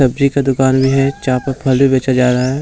सब्जी का दुकान भी है जहां पर फल भी बेचा जा रहा है।